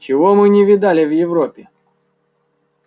чего мы не видали в европе